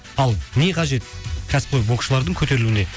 ал не қажет кәсіпқой боксшылардың көтерілуіне